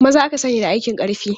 Maza aka sani da aikin ƙarfi.